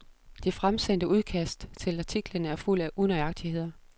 Det fremsendte udkast til artiklen er fuld af unøjagtigheder.